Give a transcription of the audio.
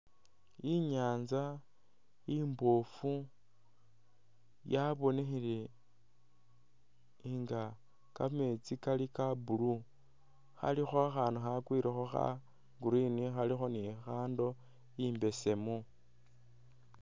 Inyantsa imboofu yabonekhele nga kameetsi kali kha blue khalikho akhandu khakwilekho kha green khalikho ni handle imbeseemu.